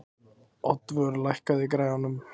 Oddvör, lækkaðu í græjunum.